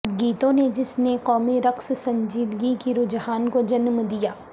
گیتوں نے جس نے قومی رقص سنجیدگی کی رجحان کو جنم دیا